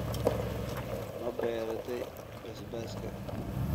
Ma beeratay basbaaska?